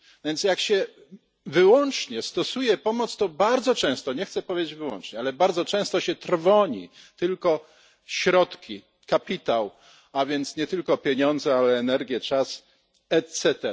Więc jak się wyłącznie stosuje pomoc, to bardzo często nie chcę powiedzieć wyłącznie, ale bardzo często trwoni się tylko środki, kapitał, a więc nie tylko pieniądze, ale też energię, czas etc.